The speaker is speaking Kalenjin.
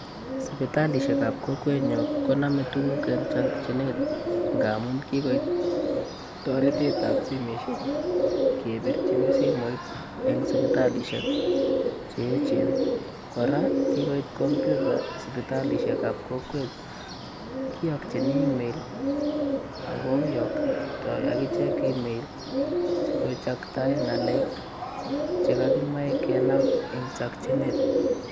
Sipitalishek ap kokwenyo konome tuguk eng chokchinet ngaamun kikoit toreteetap simeshek kepirchini simoit eng sipitalishek che echen. Kora kikoit computer sipitalishekap kokwet. Kiyokchin email ak koyoktoi akichek email sikochaktae ng'alek che kakimoche kenam eng chokchinet.